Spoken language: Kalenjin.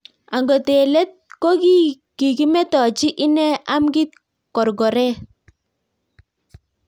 Angot eng leet ko kikimetochii ineee amkiit korkoret